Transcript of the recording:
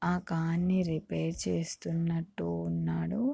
ఆ కార్ ని రేపైరే చేస్తున్నట్టు ఉన్నాడు.